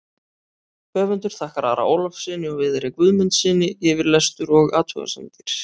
Höfundur þakkar Ara Ólafssyni og Viðari Guðmundssyni yfirlestur og athugasemdir.